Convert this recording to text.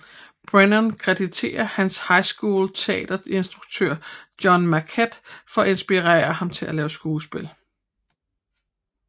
Brennan kreditter hans high school teaterinstruktør John Marquette for inspirerende ham til at lave skuespil